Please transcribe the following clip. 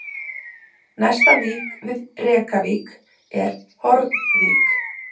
Næsta vík við Rekavík er Hornvík